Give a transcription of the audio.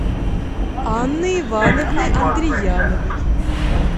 анны ивановны андрияновой